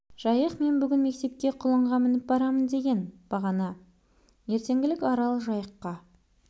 жайық мен бүгін мектепке құлынға мініп барамын деген бағана ертеңгілік арал жайыққа